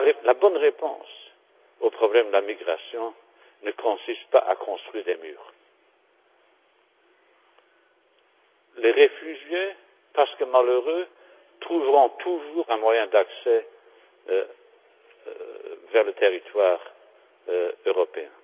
La bonne réponse au problème de la migration ne consiste pas à construire des murs. Les réfugiés, parce que malheureux, trouveront toujours un moyen d'accès vers le territoire européen.